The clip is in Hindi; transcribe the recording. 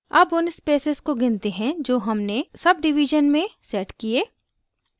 अब उन spaces को गिनते हैं जो हमने setडिवीज़न में set किये